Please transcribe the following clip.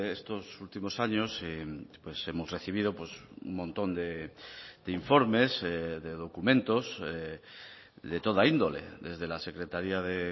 estos últimos años hemos recibido un montón de informes de documentos de toda índole desde la secretaría de